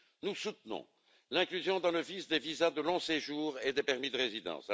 Nous soutenons l'inclusion dans le VIS, des visas de long séjour et des permis de résidence.